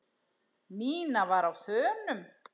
Nína var á þönum.